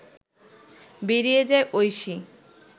বেরিয়ে যায় ঐশী